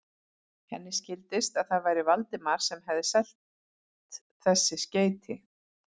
Henni skildist, að það væri Valdimar sem hefði selt þessi skeyti.